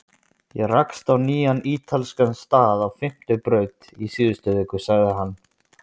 Ég rakst á nýjan ítalskan stað á Fimmtu braut í síðustu viku sagði hann.